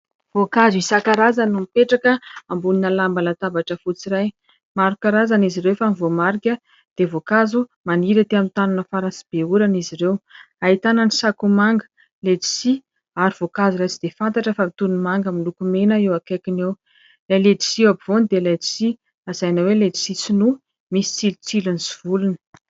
Voankazo isan-karazany no mipetraka ambonina lamba latabatra fotsy iray. Maro karazany izy ireo fa ny voamarika dia voankazo maniry aty amin'ny tany mafana sy be orana izy ireo ahitana ny sakoamanga, letisia ary voankazo iray tsy dia fantatra fa toy ny manga miloko mena eo akaikiny eo. Ilay letisia eo afovoany dia letisia lazaina hoe letisia sinoa misy tsilotsilony sy volony.